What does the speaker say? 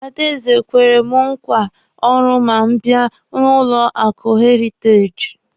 Adaeze kwere mụ nkwa ọrụ ma m bịa n'ụlọ akụ heritaji.